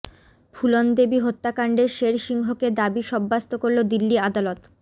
ফুলন দেবী হত্যাকাণ্ডে শের সিংকে দোষী সাব্যস্ত করল দিল্লি আদালত